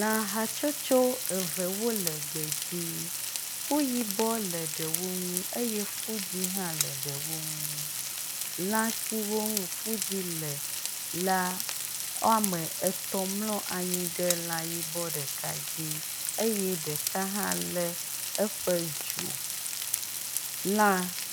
Lã hatsotso eve wole gbedzi. Fu yibɔ le ɖewo ŋu eye fu dzɛ̃ hã le ɖewo ŋu. Lã siwo ŋu fu dzɛ̃ le la wome etɔ̃ mlɔ anyi ɖe lã yibɔ ɖeka dzi eye ɖeka hã lé eƒe dzo. Lã